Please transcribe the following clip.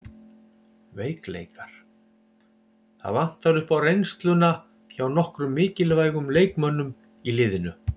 Veikleikar: Það vantar upp á reynsluna hjá nokkrum mikilvægum leikmönnum í liðinu.